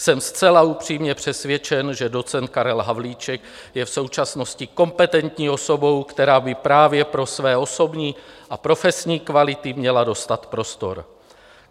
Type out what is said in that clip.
Jsem zcela upřímně přesvědčen, že docent Karel Havlíček je v současnosti kompetentní osobou, která by právě pro své osobní a profesní kvality měla dostat prostor.